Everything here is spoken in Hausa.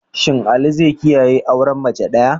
Shin Ali zai kiyaye auren mace daya?